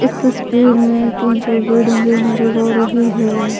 इस तस्वीर में तीन चार बिल्डिंगे नजर आ रही है।